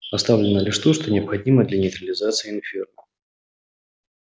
оставлено лишь то что необходимо для нейтрализации инферно